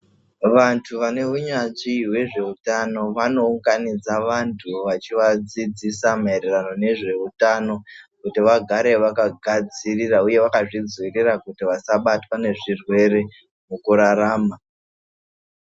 Vantu vaneunyanzvi hwezveutano vanounganidza vantu vachivadzidzisa maererano nezveutano kuti vagare vakagadzirira huye vakazvidzivirira kuti vasabatwa nezvirwere mukurarama.